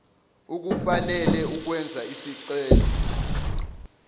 ukufanele ukwenza isicelo